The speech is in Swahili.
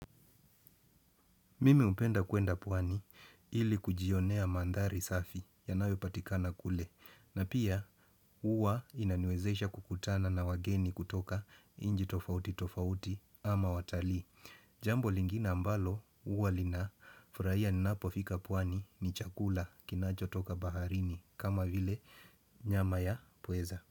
Mimi hupenda kuenda pwani ili kujionea mandhari safi yanayo patikana kule na pia huwa inaniwezesha kukutana na wageni kutoka inchi tofauti tofauti ama watalii. Jambo lingine ambalo huwa linafurahia ninapofika pwani ni chakula kinachotoka baharini kama vile nyama ya pweza.